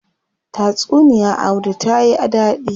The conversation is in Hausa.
Tatsuniya audu tayi dadi.